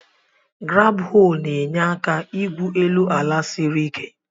Graab-hoo na-enye aka igwu elu ala siri ike.